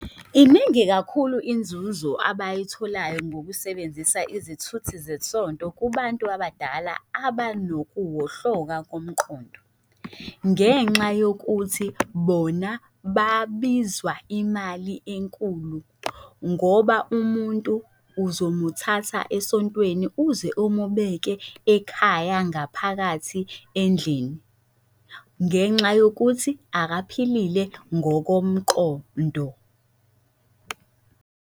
Iningi kakhulu inzuzo abayitholayo ngokusebenzisa izithuthi zesonto kubantu abadala abanokuwohloka komqondo. Ngenxa yokuthi bona babizwa imali enkulu, ngoba umuntu uzomuthatha esontweni uze umubeke ekhaya ngaphakathi endlini, ngenxa yokuthi akaphilile ngokomqondo.